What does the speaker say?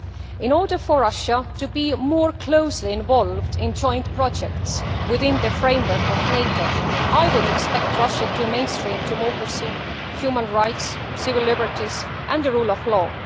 In order for Russia to be more closely involved in joint projects within the framework of NATO, I would expect Russia to mainstream democracy, human rights, civil liberties and the rule of law.